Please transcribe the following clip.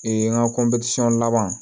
n ka laban